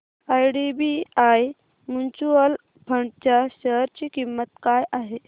IDBI mutual fund च्या share ची किंमत काय आहे